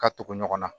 Ka tugu ɲɔgɔn na